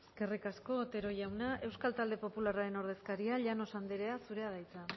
eskerrik asko otero jauna euskal talde popularraren ordezkaria llanos anderea zurea da hitza